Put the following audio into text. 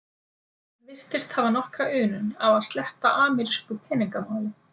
Hann virtist hafa nokkra unun af að sletta amerísku peningamáli.